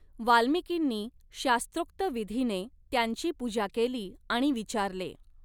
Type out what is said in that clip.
वाल्मिकींनी शास्त्रोक्त विधीने त्यांची पूजा केली आणि विचारले.